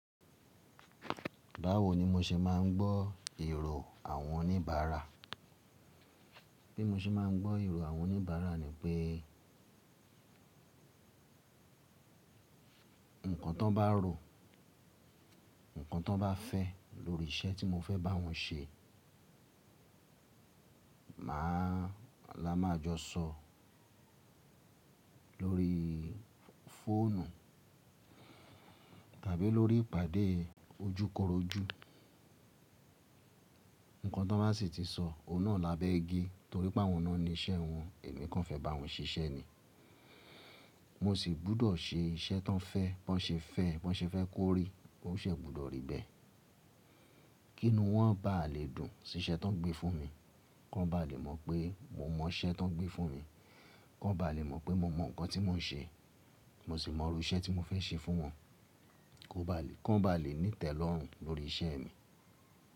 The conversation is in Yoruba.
Báwo ni mo ṣe máa ń gbọ́ èrò àwọn oníbàárà? Bí mo ṣe máa ń gbọ́ èrò àwọn oníbàárà ni pé nǹkan tí wọ́n bá rò, nǹkan tí wọ́n bá fẹ́ lórí iṣẹ́ tí mo fẹ́ bá wọn ṣe, máa la máa jọ sọ lórí fóònù tàbí lórí ìpàdé ojúkorojú. Nǹkan tí wọ́n bá sì ti sọ, òun náà lábẹ́ igi torí pé àwọn náà ni iṣẹ́ wọn, èmi kan fẹ́ bá wọn ṣiṣẹ́ ni. Mo sì gbọ́dọ̀ ṣe iṣẹ́ tí wọ́n fẹ́, bí wọ́n ṣe fẹ́ kó rí, owó ṣẹ gbọ́dọ̀ rí bẹ́ẹ̀. Kí inu wọ́n bá lè dùn sí iṣẹ́ tí wọ́n ń gbé fún mi, kí wọ́n bá lè mọ̀ pé mo mọ iṣẹ́ tí wọ́n ń gbé fún mi, kí wọ́n bá lè mọ̀ pé mo mọ nǹkan tí mò ń ṣe, mo sì mọ irú iṣẹ́ tí mo fẹ́ ṣe fún wọn, kí wọ́n bá lè ní ìtẹ́lọ́rùn lórí iṣẹ́ mi.